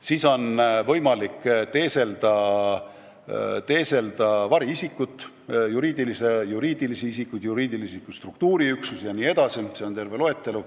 Veel on võimalik teeselda variisikut, juriidilisi isikuid, juriidilisi struktuuriüksusi jne – see on terve loetelu.